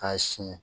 K'a sin